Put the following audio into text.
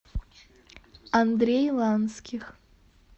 андрей ланских